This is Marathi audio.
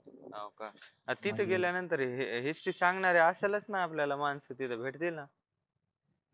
होका तिथं गेल्यानंतर history सांगणारे आसलंच आपल्यलाला मानस तिथं भेटतील ना